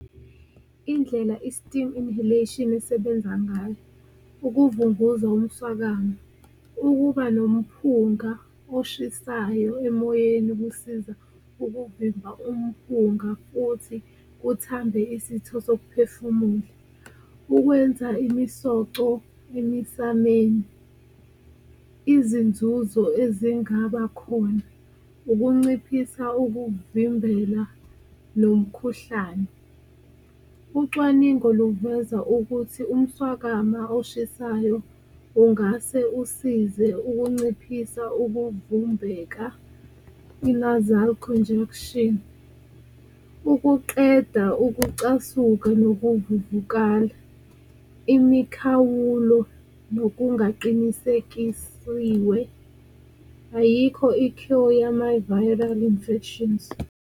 Indlela i-steam inhalation esebenza ngayo ukuvunguza umswakama ukuba nomphunga oshisayo emoyeni, kusiza ukuvimba umphunga futhi kuthambe isitho sokuphefumula. Ukwenza imisoco emisameni, izinzuzo ezingaba khona ukunciphisa ukuvimbela nomkhuhlane, ucwaningo luveza ukuthi umswakama oshisayo ungase usize ukunciphisa ukuvumbeka, i-nasal congestion, ukuqeda ukucasuka nokuvuvukala, imikhawulo nokungaqinisekisiwe. Ayikho i-cure yama-viral infections.